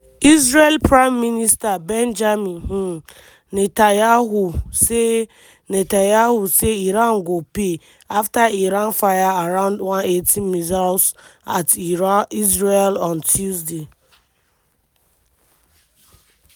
israel prime minister benjamin um netanyahu say netanyahu say iran go "pay" after iran fire around 180 missiles at israel on tuesday.